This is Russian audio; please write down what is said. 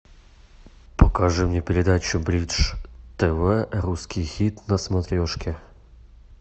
покажи мне передачу бридж тв русский хит на смотрешке